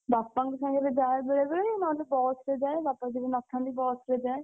ବାପାଙ୍କ ସାଙ୍ଗରେ ଯାଏ ବେଳେବେଳେ ନହେଲେ ବସ୍ ରେ ଯାଏ। ବାପା ଯଦି ନଥାନ୍ତି ବସ୍ ରେ ଯାଏ।